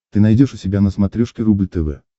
ты найдешь у себя на смотрешке рубль тв